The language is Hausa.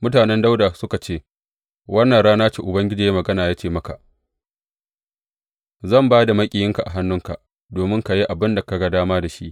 Mutanen Dawuda suka ce, wannan rana ce Ubangiji ya yi magana ya ce maka, Zan ba da maƙiyinka a hannunka domin ka yi abin da ka ga dama da shi.